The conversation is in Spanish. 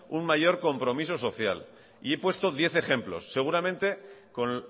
un mayor compromiso social y he puesto diez ejemplos seguramente con